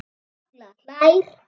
Halla hlær.